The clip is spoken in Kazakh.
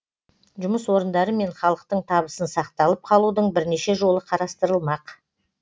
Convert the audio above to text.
жұмыс орындары мен халықтың табысын сақталып қалудың бірнеше жолы қарастырылмақ